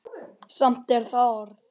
Samt er það orð.